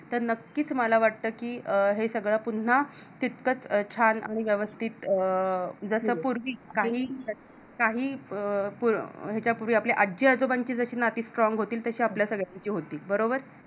तर नक्कीच मला वाटतं की अं हे सगळं पुन्हा तितकच छान आणि व्यवस्थित अं जस पूर्वी काही काही याच्या पूर्वी आपल्या आजी आजोबांची जशी नाती Strong होती तशी आपल्या सगळ्यांची होतील बरोबर